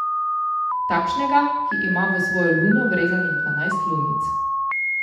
Takšnega, ki ima v svojo luno vrezanih dvanajst lunic.